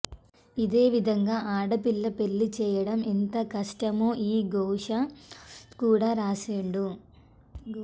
అదే విధంగా ఆడపిల్ల పెండ్లి చేయడం ఎంత కష్టమో ఆ ఘోష కూడా రాసిండు